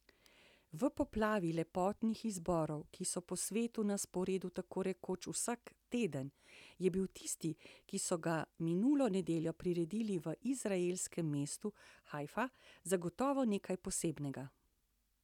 V poplavi lepotnih izborov, ki so po svetu na sporedu tako rekoč vsak teden, je bil tisti, ki so ga minulo nedeljo priredili v izraelskem mestu Hajfa, zagotovo nekaj posebnega.